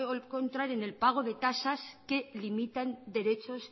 encontrar en el pago de tasas que limitan derechos